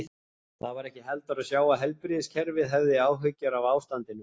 Það var ekki heldur að sjá að heilbrigðiskerfið hefði áhyggjur af ástandinu.